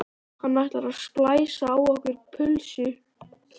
Hann ætlar að splæsa á okkur pulsu!